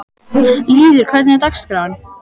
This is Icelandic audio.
Lýður, hvernig er dagskráin?